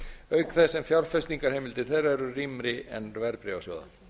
auk þess sem fjárfestingarheimildir þeirra eru rýmri en verðbréfasjóða